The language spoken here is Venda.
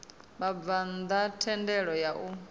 vhabvann ḓa thendelo ya u